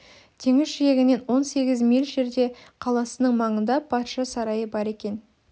теңіз жиегінен он сегіз миль жерде қаласының маңында патша сарайы бар екен